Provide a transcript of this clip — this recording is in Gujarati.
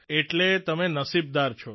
એટલા તમે નસીબદાર છો